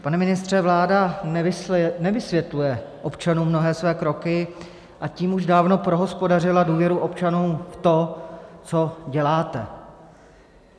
Pane ministře, vláda nevysvětluje občanům mnohé svoje kroky, a tím už dávno prohospodařila důvěru občanů v to, co děláte.